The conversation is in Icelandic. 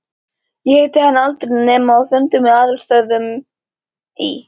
Ég hitti hann aldrei nema á fundum í aðalstöðvunum í